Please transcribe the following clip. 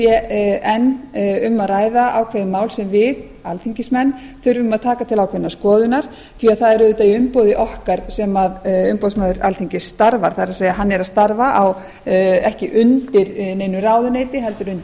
enn um að ræða ákveðin mál sem við alþingismenn þurfum að taka til ákveðinnar skoðunar því það er auðvitað í umboði okkar sem umboðsmaður alþingis starfar það er hann er að starfa ekki undir neinu ráðuneyti heldur undir